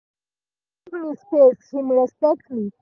him give me space him respect me.